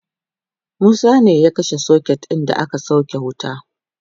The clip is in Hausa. Musa ne ya kashe socket da aka sauke wuta